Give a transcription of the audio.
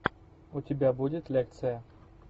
у тебя будет лекция